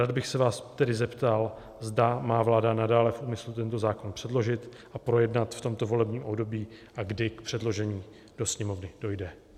Rád bych se vás tedy zeptal, zda má vláda nadále v úmyslu tento zákon předložit a projednat v tomto volebním období a kdy k předložení do Sněmovny dojde.